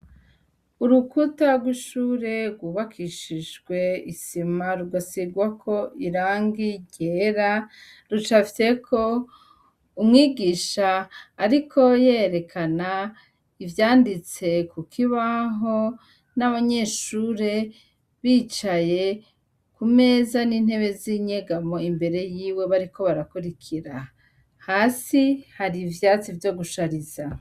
Urukuta rw'ishure rwubakishijwe isima rugasigwako irangi ryera rucafyeko umwigisha ariko yerekana ivyanditse ku kibaho n'abanyeshure bicaye ku meza, n'intebe z'inyegamo imbere yiwe bariko barakurikira. Hasi hari ivyatsi vyo gushariza.